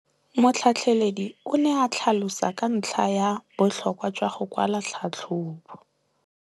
Motlhatlheledi o ne a tlhalosa ka ntlha ya botlhokwa jwa go kwala tlhatlhôbô.